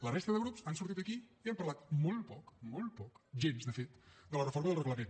la resta de grups han sortit aquí i han parlat molt poc molt poc gens de fet de la reforma del reglament